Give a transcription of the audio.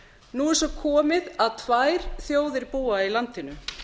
nú er svo komið að tvær þjóðir búa í landinu